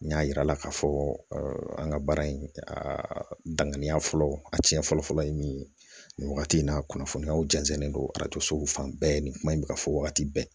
N y'a yira n na k'a fɔ an ka baara in a danganiya fɔlɔ a tiɲɛ fɔlɔ fɔlɔ ye min ye nin wagati in na a kunnafoniyaw jɛnsɛnlen don arajo sow fan bɛɛ nin kuma in bɛ ka fɔ wagati bɛɛ